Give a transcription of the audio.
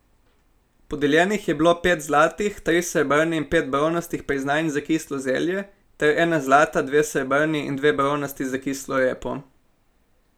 Podeljenih je bilo pet zlatih, tri srebrne in pet bronastih priznanj za kislo zelje ter ena zlata, dve srebrni in dve bronasti za kislo repo.